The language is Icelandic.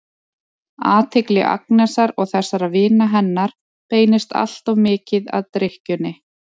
Athygli Agnesar og þessara vina hennar beinist alltof mikið að drykkjunni.